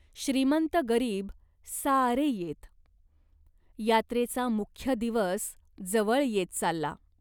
श्रीमंत गरीब सारे येत. यात्रेचा मुख्य दिवस जवळ येत चालला.